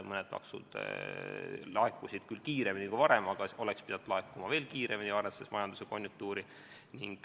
Mõned maksud laekusid küll kiiremini kui varem, aga oleks pidanud laekuma veel kiiremini, arvestades majanduse konjunktuuri.